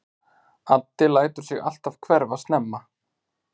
Addi lætur sig alltaf hverfa snemma.